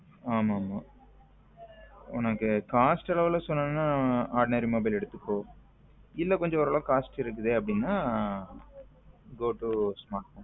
ஆமா ஆமா உனக்கு cost அளவுல சொல்லணும்னா ordinary mobile எடுத்துக்கோ இல்ல கொஞ்சம் ஓரளவுக்கு காசு இருக்குது அப்படின்னா go to smartphone.